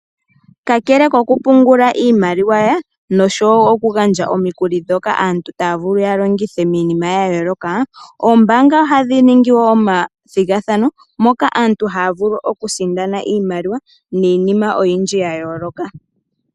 Kakele koku pungula iimaliwa noshowoo okugandja omikuli ndhoka aantu taya vulu yalongithe miinima yayooloka , oombaanga ohadhi ningi wo omathigathano moka aantu haya vulu okusindana iimaliwa niinima oyindji yayooloka.